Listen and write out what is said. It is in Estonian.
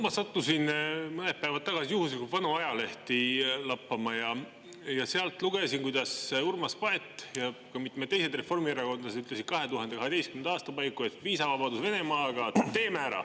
Ma sattusin mõned päevad tagasi juhuslikult vanu ajalehti lappama ja sealt lugesin, kuidas Urmas Paet ja mitmed teised reformierakondlased ütlesid 2012. aasta paiku, et viisavabadus Venemaaga – teeme ära!